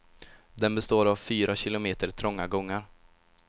Den består av fyra kilometer trånga gångar.